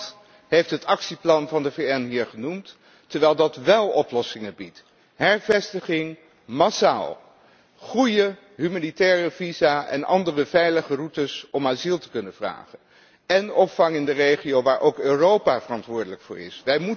Niemand heeft het actieplan van de VN hier genoemd, terwijl dat wél oplossingen biedt massale hervestiging, goede humanitaire visa en andere veilige routes om asiel te kunnen vragen en opvang in de regio, waar ook Europa verantwoordelijk voor is.